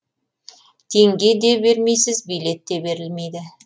теңге де бермейсіз билет те берілмейді